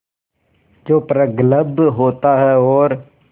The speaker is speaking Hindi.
जो प्रगल्भ होता है और